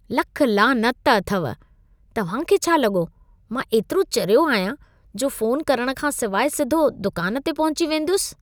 लख लानत अथव! तव्हां खे छा लॻो मां एतिरो चरियो आहियां जो फ़ोन करण खां सिवाइ सिधो दुकान ते पहुची वेंदुसि?